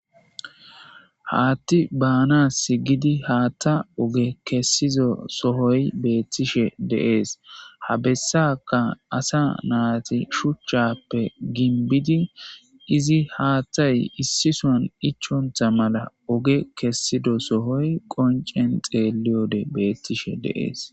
haatti baanasi gidi haatta oge kessizo sohoy beettishe dee'es ha bessanka asa naati shuchchappe ginbidi izi haatthay issison ichontha mala oge kessidosohoy qoncen xeelliyode beettishe de'ees